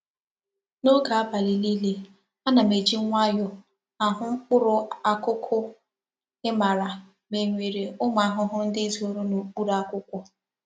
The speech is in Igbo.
N'oge abali nile Ana m eji nwayo ahu mkpuru akuku imara ma e nwere umu ahuhu ndi zoro n'okpuru akwukwo.